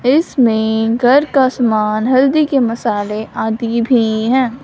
इसमें घर का समान हल्दी के मसाले आदि भी हैं।